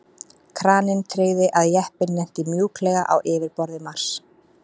Kraninn tryggði að jeppinn lenti mjúklega á yfirborði Mars.